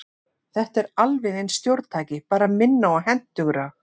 Þetta er alveg eins stjórntæki, bara minna og hentugra.